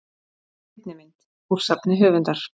Seinni mynd: Úr safni höfundar.